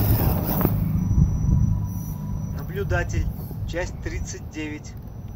наблюдатель часть тридцать девять